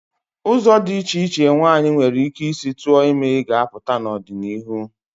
Ụzọ dị iche iche nwaanyị nwere ike isi tụọ ime ga-apụta n'ọdịnihu.